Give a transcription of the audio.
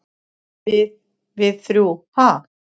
"""Við- við þrjú, ha?"""